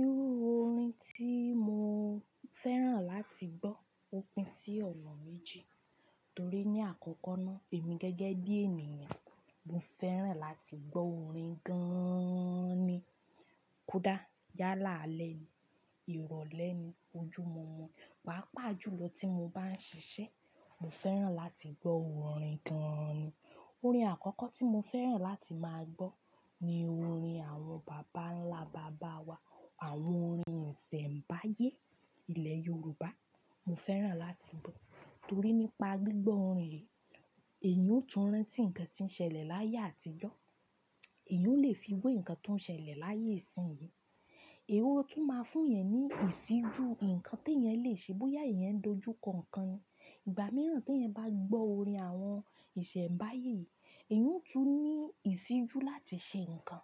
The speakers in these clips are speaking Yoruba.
Irú orin tí mo fẹ́ràn láti gbọ́ ó pín sí ọ̀nà méjì. Torí ní àkọ́kọ́ náà èmi gẹ́gẹ́ bí ènìyàn, mo fẹ́ràn láti gbọ́ orin gan-an ni. Kú dà, yálà ale ni, ìrọ̀lẹ́ ni, ojú mo mọ. Pàápàá jùlọ tí mo bá ń ṣiṣẹ́, mo fẹ́ràn láti gbọ́ orin gan-an ni. Orin àkọ́kọ́ tí mo fẹ́ràn láti máa gbọ́ ni orin àwọn bàbá ńlá bàbá wa. Àwọn orin ìsẹ̀mbáyé ilẹ̀ Yorùbá, mo fẹ́ràn láti gbọ́. Torí nípa gbígbọ́ orin yì, èèyàn ó tún rántí ǹkan tí ń ṣẹlẹ̀ láyé àtijọ́, èèyàn ó lè fi wò ǹkan tó ń ṣẹlẹ̀ láyé ìsín yí. Ó tún máa fún yẹn ní ìsíjú, ǹkan tí yẹn lè ṣe bóyá yẹn ń dojú kankan. Ìgbà mìíràn tí yẹn bá gbọ́ orin àwọn ìsẹ̀mbáyé yìí, èèyàn ó tún ní ìsíjú láti ṣe ǹkan.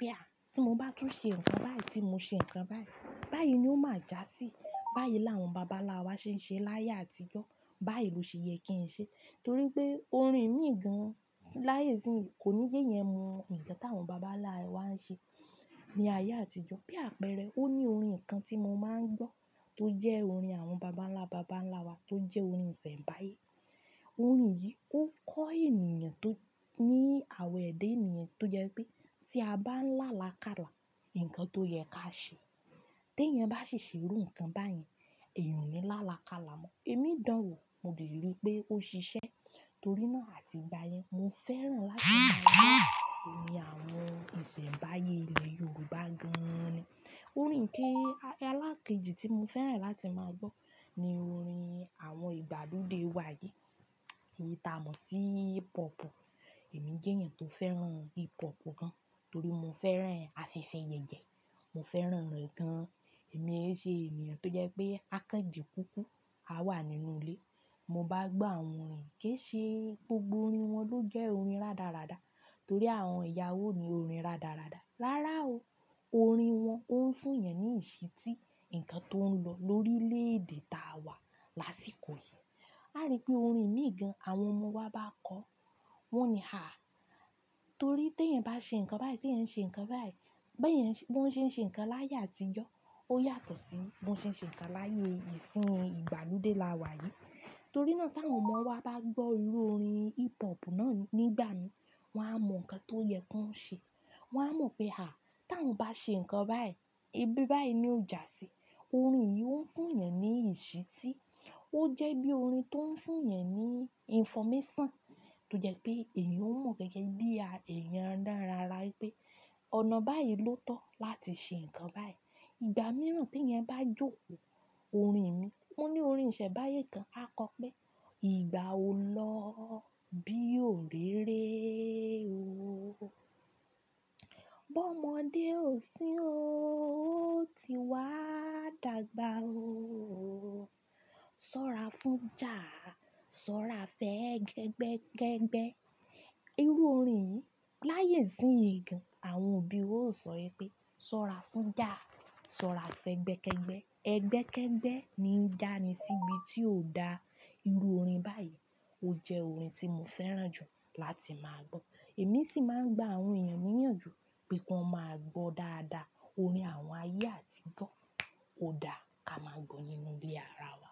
Pé a, tí mo bá tún ṣe ǹkan báyì tí mo ṣe ǹkan báyì, báyí ni ó máa já sí. Báyí làwọn bàbá ńlá wa ṣe ń ṣe láyé àtijọ́, báyì ló ṣe yẹ kí n ṣe. Torí pé orin mí gan-an láyé ìsín yí kò ní jeyẹn mu ǹkan tí àwọn bàbá ńlá wa ń ṣe ní ayé àtijọ́. Bí àpẹẹrẹ, ó ní orin kan tí mo máa ń gbọ́ tó jẹ́ orin àwọn bàbá ńlá bàbá ńlá wa tó jẹ́ orin ìsẹ̀mbáyé. Orin yì ó kọ́ èniyàn tó ní àwa èdè ènìyàn tó jẹ́ pé tí a bá ń là làkàlà, ǹkan tó yẹ ká ṣe. Teyan bá ṣì ṣe irú ǹkan báyẹn, èèyàn ò ní là làkàlà mọ́. Èmi danwo mo de rí pé ó ṣiṣẹ́. Torí náà àti ìgbà yẹn, mo fẹ́ràn láti máa gbọ́ orin àwọn ìsẹ̀mbáyé ilẹ̀ Yorùbá gan-an ni. Orin ke-ẹlẹ́ẹ̀keji tí mo fẹ́ràn láti máa gbọ́ ni orin àwọn ìgbàlódé wa yí. Èyí ta mọ̀ sí hip hop. Èmi jẹ́ èèyàn tó fẹ́ràn hip hop gan-an torí mo fẹ́ràn àfefe yẹ̀yẹ́, mo fẹ́ràn rẹ̀ gan-an. Èmi ń ṣe èèyàn tó jẹ́ pé àkànjì kúkú, a wà nínú ilé. Mo bá gbọ́ àwọn orin kì ṣe gbogbo orin wọn ló jẹ́ orin rádaràda torí àwọn ìyàwó ní orin rádaràda. Rárá o, orin wọn ó ń fún yẹn ní ìṣítí ǹkan tó ń lọ lórílẹ̀-èdè ta wà lásìkò yì. A rí pé orin mí gan àwọn ọmọ wa bá kọ, wọ́n ní à. Torí teyan bá ṣe ǹkan báyì, teyan ṣe ǹkan báyì, bí won ṣe, bí wọ́n ṣe ń ṣe ǹkan láyé àtijọ́, ó yàtọ̀ sí bí wọ́n ṣe ń ṣe ǹkan láyé ìsín ìgbàlódé la wà yí. Torí náà ta àwọn ọmọ wa bá gbọ́ irú orin hip hop náà nígbà mìíràn, wọ́n á mọ ǹkan tó yẹ kí wọ́n ṣe. Torí náà ta àwọn ọmọ wa bá gbọ́ irú orin hip hop náà nígbà mìíràn, wọ́n á mọ ǹkan tó yẹ kí wọ́n ṣe. Orin yì ó ń fún yan ní ìṣítí. Wọ́n á mọ̀ pé à, ta àwọn bá ṣe ǹkan báyí, ibi báyí ni ó já sí. Ìgbà míràn tí yẹn bá jókòó, orin mí, mo ní orin ìsẹ̀mbáyé kan, a kọ pé, igbà o lọ́ bí òré ré o, bọ́mọdé ò sí o, ó ti wá dàgbà o. Sọ́ra fún ja, sọ́ra fẹ́ ẹgbẹ́kẹ́gbẹ́. Irú orin yì láyè ìsín yi gan, àwọn òbí ó sọ pé, "Sọ́ra fún ja, sọ́ra fẹ́ ẹgbẹ́kẹ́gbẹ́." Ẹgbẹ́kẹ́gbẹ́ ni jà ní sibí tí ò da. Irú orin báyìí ó jẹ́ orin tí mo fẹ́ràn jù láti máa gbọ́. Èmi sì máa ń gba àwọn èèyàn níyànjú pé ki wọn máa gbọ́ dáadáa orin àwọn ayé àtijọ́. Ó da ká máa gbọ́ nínú ilé ara wa.